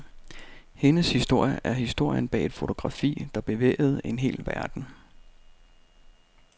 Hendes historie er historien bag et fotografi, der bevægede en hel verden.